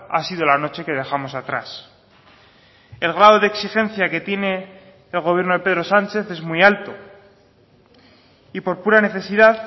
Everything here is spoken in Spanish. ha sido la noche que dejamos atrás el grado de exigencia que tiene el gobierno de pedro sánchez es muy alto y por pura necesidad